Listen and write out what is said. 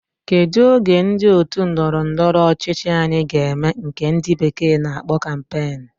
Kedu oge ndi otu ndọrọ ndọrọ ọchịchị anyi ga eme nke ndi bekee na akpo campaign?